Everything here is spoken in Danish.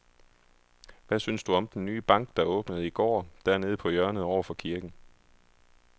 Hvad synes du om den nye bank, der åbnede i går dernede på hjørnet over for kirken?